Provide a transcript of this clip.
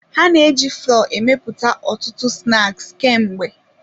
Ha na-eji flọọ emepụta ọtụtụ snaks ka mgbe.